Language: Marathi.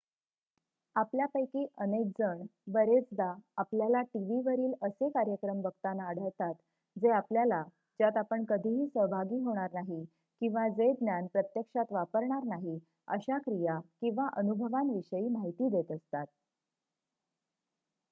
आपल्यापैकी अनेक जण बरेचदा आपल्याला टीव्हीवरील असे कार्यक्रम बघताना आढळतात जे आपल्याला ज्यात आपण कधीही सहभागी होणार नाही किंवा जे ज्ञान प्रत्यक्षात वापरणार नाही अशा क्रिया किंवा अनुभवांविषयी माहिती देत असतात